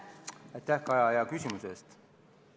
Aitäh, Kaja, hea küsimuse eest!